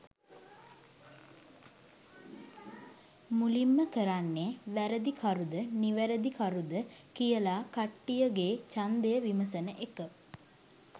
මුලින්ම කරන්නේ වැරදිකරුද නිවැරදිකරුද කියලා කට්ටියගේ ඡන්දය විමසන එක.